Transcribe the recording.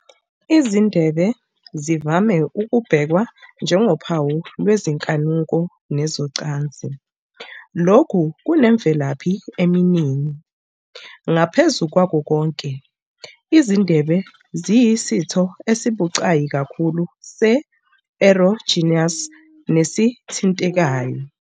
Izindebe zivame ukubhekwa njengophawu lwezinkanuko nezocansi. Lokhu kunemvelaphi eminingi, ngaphezu kwakho konke, izindebe ziyisitho esibucayi kakhulu se-erogenous nesithintekayo.